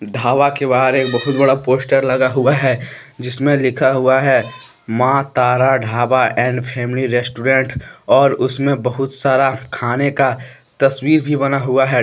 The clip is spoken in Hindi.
ढाबा के बाहर एक बहुत बड़ा पोस्टर लगा हुआ है। जिसमें लिखा हुआ है Maa Tara Dhaba and family restaurant और उसमें बहुत सारा खाने का तस्वीर भी बना हुआ है--